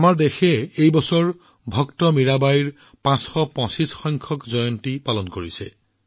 এইবাৰ দেশত মহান সন্ত মীৰাবাইৰ ৫২৫সংখ্যক জয়ন্তী উদযাপন কৰা হৈছে